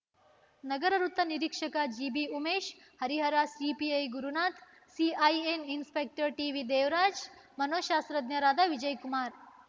ನಗರ ವೃತ್ತ ನಿರೀಕ್ಷಕ ಜಿಬಿಉಮೇಶ Harihara CPI Gurunatha CIN inspector ಟಿವಿದೇವರಾಜ ಮನೋಶಾಸ್ತ್ರಜ್ಞರಾದ ವಿಜಯಕುಮಾರ